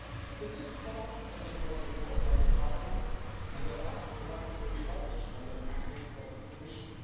This is the last anti fraud report by this Parliament and the last one to be published under the mandate of this Commission.